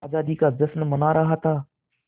आज़ादी का जश्न मना रहा था